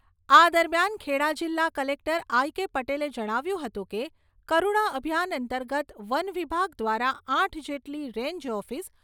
આ દરમિયાન ખેડા જિલ્લા કલેક્ટર આઇ.કે. પટેલે જણાવ્યું હતું કે કરુણા અભિયાન અંતર્ગત વનવિભાગ દ્વારા આઠ જેટલી રેન્જ ઓફિસ